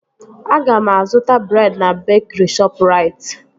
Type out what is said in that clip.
Aga m azụta breed na bekri Shọpụrait